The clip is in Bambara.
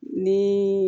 Ni